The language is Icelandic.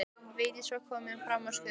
Vigdís var komin fram á skörina.